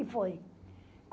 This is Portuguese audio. E foi.